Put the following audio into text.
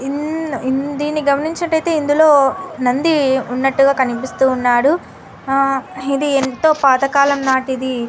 In న్ దీని గామంచినట్టు ఐతే ఇందిలో నంది ఉన్నట్టు కనిపిస్తున్నాడు. ఆహ్ ఇది ఎంతో పాతకాలం నాటిది --